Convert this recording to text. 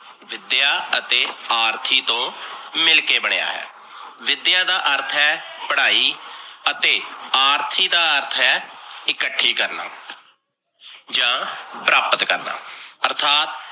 ਵਿਦਿਆ ਅਤੇ ਆਰਥੀ ਤੋਂ ਮਿਲ ਕੇ ਬਣਿਆ ਹੈ, ਵਿਦਿਆ ਦਾ ਅਰਥ ਹੈ, ਪੜਾਈ ਅਤੇ ਆਰਥੀ ਦਾ ਅਰਥ ਹੈ ਇਕੱਠੀ ਕਰਨਾ ਜਾਂ ਪ੍ਰਾਪਤ ਕਰਨਾ, ਆਰਥਤ